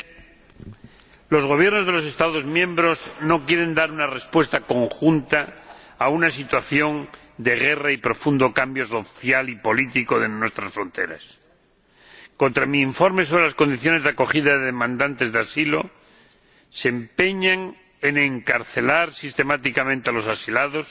Señor Presidente, los Gobiernos de los Estados miembros no quieren dar una respuesta conjunta a una situación de guerra y profundo cambio social y político de nuestras fronteras. En contra de mi informe sobre las condiciones de acogida de los demandantes de asilo, se empeñan en encarcelar sistemáticamente a los asilados,